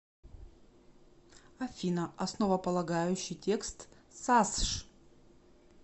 афина основополагающий текст сасш